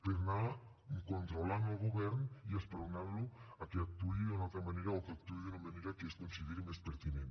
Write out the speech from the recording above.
per anar controlant el govern i esperonant lo perquè actuï d’una altra manera o que actuï d’una manera que es consideri més pertinent